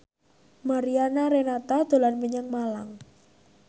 Mariana Renata dolan menyang Malang